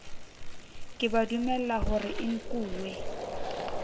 ke ba dumelahore e nkuwe